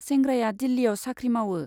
सेंग्राया दिल्लीयाव साख्रि मावो।